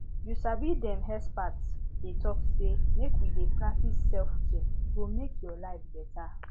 you sabi dem experts dey talk say make we dey practice selfcare e go make your life beta